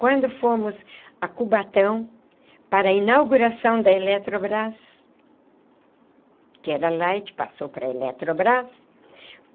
Quando fomos a Cubatão para a inauguração da Eletrobras, que era Light, passou para a Eletrobras.